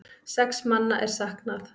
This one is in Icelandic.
Sex manna er saknað.